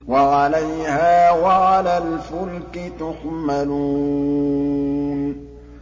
وَعَلَيْهَا وَعَلَى الْفُلْكِ تُحْمَلُونَ